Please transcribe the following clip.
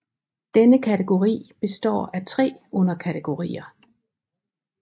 Denne kategori består af tre underkategorier